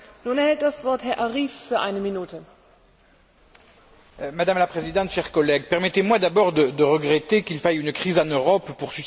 Madame la Présidente, chers collègues, permettez moi d'abord de regretter qu'il faille une crise en Europe pour susciter le débat que nous avons aujourd'hui et la résolution que nous voterons demain.